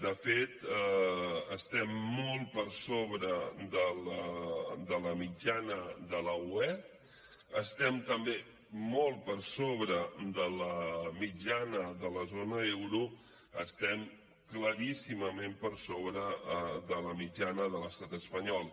de fet estem molt per sobre de la mitjana de la ue estem també molt per sobre de la mitjana de la zona euro estem claríssimament per sobre de la mitjana de l’estat espanyol